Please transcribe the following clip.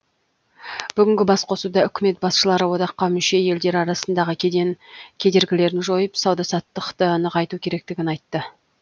бүгінгі басқосуда үкімет басшылары одаққа мүше елдер арасындағы кеден кедергілерін жойып сауда саттықты нығайту керектігін айтты